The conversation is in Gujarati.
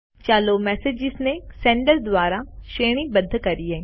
ચાલો મેસેજીસને સેન્ડર દ્વારા શ્રેણીબદ્ધ કરીએ